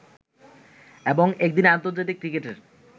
এবং একদিনের আন্তর্জাতিক ক্রিকেটের